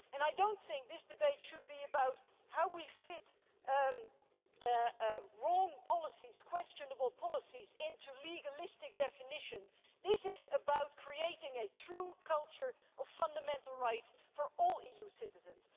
I do not think that this debate should be about how we fit wrong policies, questionable policies, into legalistic definitions this is about creating a true culture of fundamental rights for all EU citizens.